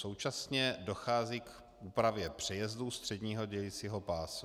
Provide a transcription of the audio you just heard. Současně dochází k úpravě přejezdů středního dělicího pásu.